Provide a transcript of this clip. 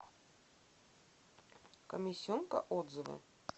комиссионка отзывы